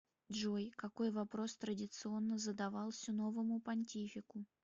джой какой вопрос традиционно задавался новому понтифику